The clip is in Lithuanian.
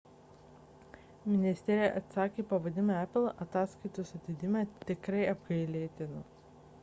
ministerija atsakė pavadindama apple ataskaitos atidėjimą tikrai apgailėtinu